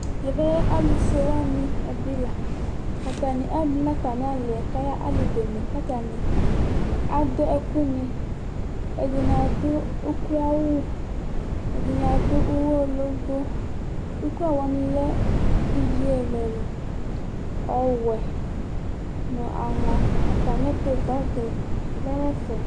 Ɛvɛ alufue wani ɛdɩ la Atani atu nʋ atami ali yɛ kʋ ayaɣa ali bene, kʋ atani adu ɛkuni Ɛdɩnɩ adu ukloawʋ, ɛdɩnɩ adu ʋwɔ lobo Ukloawʋ wani lɛ ivi ɛlʋ ɛlʋ: ɔwɛ nʋ aŋɔ Atami bagi yɛ lɛ nʋ ɛfɛ